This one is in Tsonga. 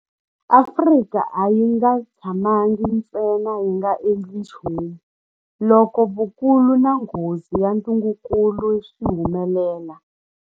Afrika a yi nga tshamangi ntsena yi nga endli nchumu loko vukulu na nghozi ya ntungukulu swi humelela.